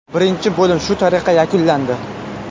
Birinchi bo‘lim shu tariqa yakunlandi.